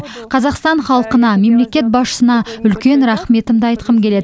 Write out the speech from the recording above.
қазақстан халқына мемлекет басшысына үлкен рахметімді айтқым келеді